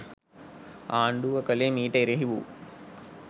ආණ්ඩුව කළේ මීට එරෙහි වූ